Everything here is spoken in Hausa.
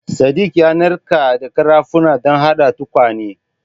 Sadik ya narkar da ƙarafunan don haɗa tukwane.